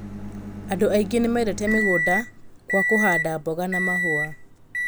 Andũ aingĩ nĩ mendete mĩgũnda kwa kũhanda mboga na mahũa.